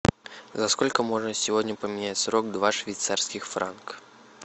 за сколько можно сегодня поменять сорок два швейцарских франка